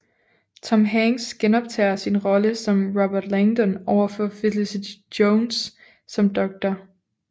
Tom Hanks genoptager sin rolle som Robert Langdon overfor Felicity Jones som Dr